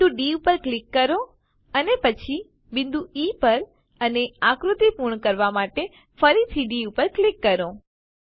બિંદુ ડી પર ક્લિક કરો અને પછી બિંદુ ઇ પર અને આકૃતિ પૂર્ણ કરવા માટે ફરીથી ડી પર ક્લિક કરો